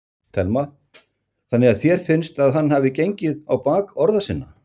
Telma: Þannig að þér finnst að hann hafi gengið á bak orða sinna?